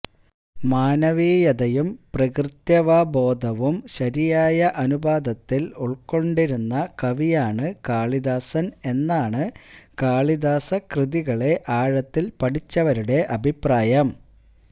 മാനവീയതയും പ്രകൃത്യാവബോധവും ശരിയായ അനുപാതത്തിൽ ഉൾക്കൊണ്ടിരുന്ന കവിയാണ് കാളിദാസൻ എന്നാണ് കാളിദാസകൃതികളെ ആഴത്തിൽ പഠിച്ചവരുടെ അഭിപ്രായം